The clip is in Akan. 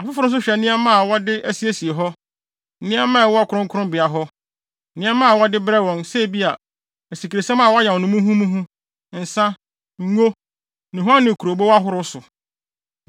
Afoforo nso hwɛ nneɛma a wɔde asiesie hɔ, nneɛma a ɛwɔ kronkronbea hɔ, nneɛma a wɔde brɛ wɔn, sɛ ebia, asikresiam a wɔayam no muhumuhu, nsa, ngo, nnuhuam ne kurobow ahorow so.